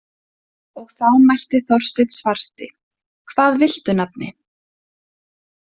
Og þá mælti Þorsteinn svarti: „Hvað viltu nafni“?